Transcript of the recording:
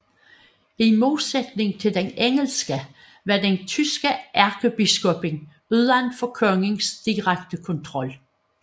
I modsætning til den engelske var den tyske ærkebiskop uden for kongens direkte kontrol